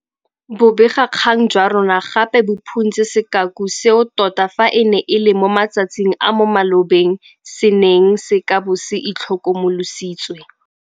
Bobegakgang jwa rona gape bo phuntse sekaku seo tota fa e ne e le mo matsatsing a mo malobeng se neng se ka bo se itlhokomolositswe.